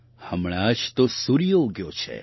હમણાં જ તો સૂર્ય ઉગ્યો છે